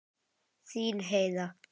Þín Heiða.